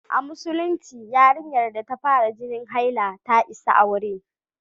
A Musulunci, yarinyar da ta fara jinin haila ta isa aure.